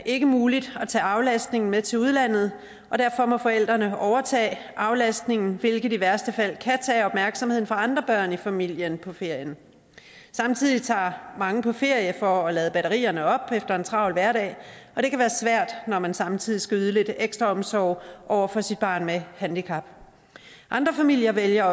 ikke muligt at tage aflastningen med til udlandet og derfor må forældrene overtage aflastningen hvilket i værste fald kan tage opmærksomheden fra andre børn i familien på ferien samtidig tager mange på ferie for at lade batterierne op efter en travl hverdag og det kan være svært når man samtidig skal yde lidt ekstra omsorg over for sit barn med handicap andre familier vælger